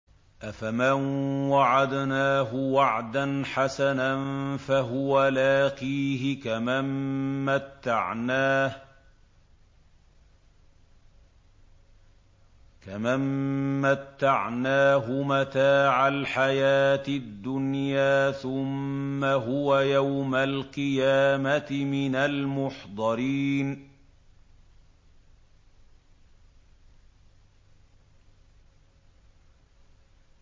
أَفَمَن وَعَدْنَاهُ وَعْدًا حَسَنًا فَهُوَ لَاقِيهِ كَمَن مَّتَّعْنَاهُ مَتَاعَ الْحَيَاةِ الدُّنْيَا ثُمَّ هُوَ يَوْمَ الْقِيَامَةِ مِنَ الْمُحْضَرِينَ